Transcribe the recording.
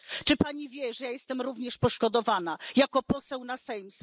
Czy Pani wie, że ja jestem również poszkodowana jako poseł na Sejm?